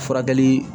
Furakɛli